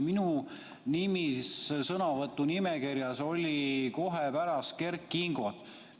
Minu nimi oli sõnavõtu nimekirjas kohe pärast Kert Kingot.